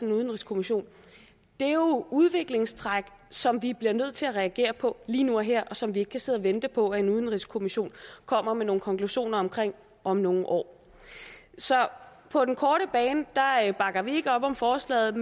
en udenrigskommission er jo udviklingstræk som vi bliver nødt til at reagere på lige nu og her og som vi ikke kan sidde og vente på at en udenrigskommission kommer med nogle konklusioner om om nogle år så på den korte bane bakker vi ikke op om forslaget